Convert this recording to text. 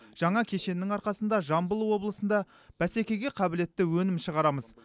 жаңа кешеннің арқасында жамбыл облысында бәсекеге қабілетті өнім шығарамыз